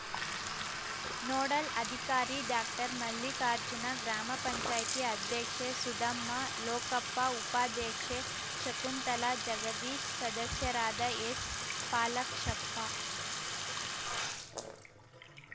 nodal ಅಧಿಕಾರಿ ಡಾಕ್ಟರ್ಮಲ್ಲಿಕಾರ್ಜುನ ಗ್ರಾಪಂ ಅಧ್ಯಕ್ಷೆ ಸುಧಮ್ಮ ಲೋಕಪ್ಪ ಉಪಾಧ್ಯಕ್ಷೆ ಶಕುಂತಲಾ ಜಗದೀಶ ಸದಸ್ಯರಾದ ಎಸ್‌ಪಾಲಾಕ್ಷಪ್ಪ